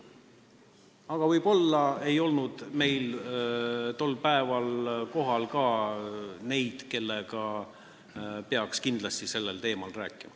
Aga võib-olla ei olnud tol päeval kohal neid, kellega peaks kindlasti sellel teemal rääkima.